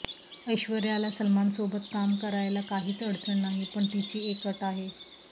ऐश्वर्याला सलमानसोबत काम करायला काहीच अडचण नाही पण तिची एक अट आहे